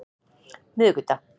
miðvikudag